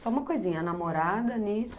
Só uma coisinha, a namorada nisso?